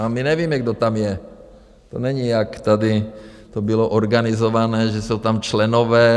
A my nevíme, kdo tam je, to není, jak tady to bylo organizované, že jsou tam členové.